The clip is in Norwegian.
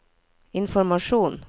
informasjon